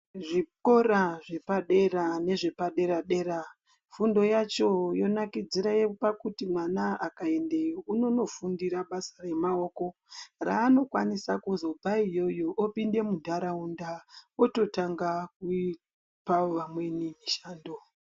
Zvikora zvepadera nezvepadera dera fundo yacho yonakidzire pakuti mwana akaendeyo inondofundira basa remaoko raanokwanisa kuzobve iyoyo olinda mundaraunda ototanga kupa amweni mushando.